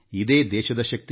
ಇದು ದೇಶದ ಶಕ್ತಿ